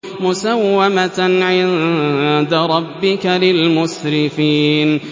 مُّسَوَّمَةً عِندَ رَبِّكَ لِلْمُسْرِفِينَ